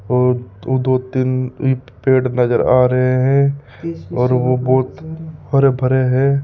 ओ तू दो तीन इ पेड़ नजर आ रहे हैं और वो बहोत हरे भरे हैं।